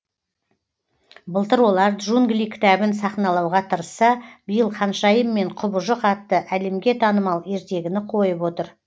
былтыр олар джунгли кітабын сахналауға тырысса биыл ханшайым мен құбыжық атты әлемге танымал ертегіні қойып отыр